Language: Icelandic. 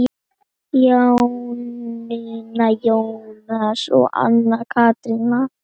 Jónína, Jónas og Anna Katrín.